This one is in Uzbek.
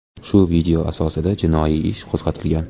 Shu video asosida jinoiy ish qo‘zg‘atilgan.